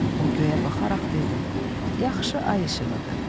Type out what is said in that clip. O göyə baxaraq dedi: Yaxşı ay işığıdır.